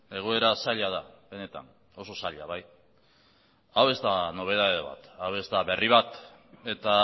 egoera zaila da benetan oso zaila bai hau ez da nobedade bat hau ez da berri bat eta